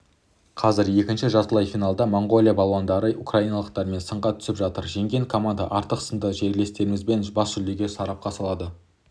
қазір екінші жартылай финалда моңғолия балуандары украиналықтармен сынға түсіп жатыр жеңген команда ақтық сында жерлестерімізбен бас жүлдені сарапқа салады